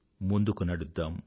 ముందుకు నడుద్దాం